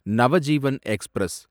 Navjivan express